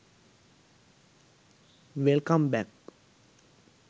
welcome back